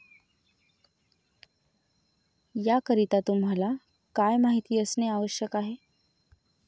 याकरिता तुम्हाला काय माहिती असणे आवश्यक आहे?